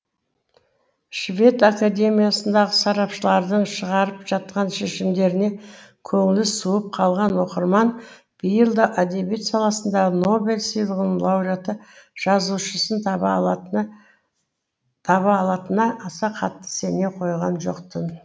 швед академиясындағы сарапшылардың шығарып жатқан шешімдеріне көңілі суып қалған оқырман биыл да әдебиет саласындағы нобель сыйлығының лауриаты жазушысын таба алатынына аса қатты сене қойған жоқ тын